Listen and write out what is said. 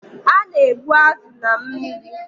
A na-egbu azụ na mmiri.